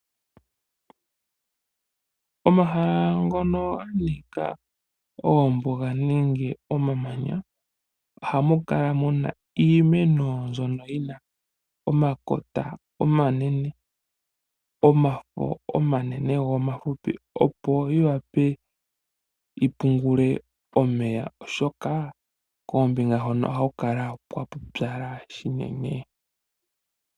Omahala ngono ganika oombuga nenge omamanya ohamukala muna iimeno mbyono yina omakota omanene,.omafo omanene go omafupi opo yiwape yipungule omeya oshoka koombinga hono ohakukala kwapupyala shinene.